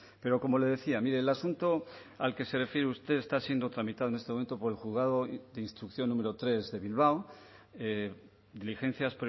pero como le decía mire el asunto al que se refiere usted está siendo tramitado en este momento por el juzgado de instrucción número tres de bilbao diligencias